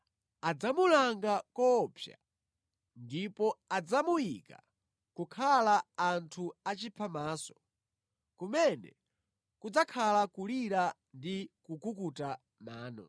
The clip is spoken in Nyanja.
Adzamulanga koopsa ndipo adzamuyika kokhala anthu achiphamaso, kumene kudzakhala kulira ndi kukukuta mano.”